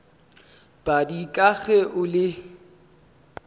padi ka ge o le